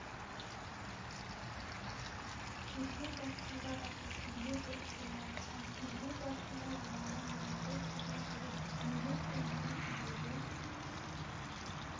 тергеу барысында баста тергеу дұрыс болмады ал тергеу барысында жаңағы мужиков деген жігіт мужикпін деген сөзінде